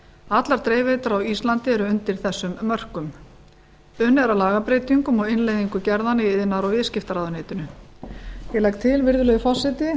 allar dreifiveitur á íslandi eru undir þessum mörkum unnið er að lagabreytingum og innleiðingu gerðanna í iðnaðar og viðskiptaráðuneytinu ég legg til virðulegi forseti